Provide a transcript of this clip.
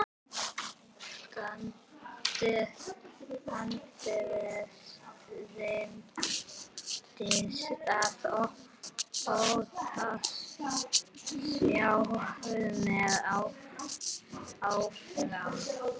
Aldrei reynt að ota sjálfum mér áfram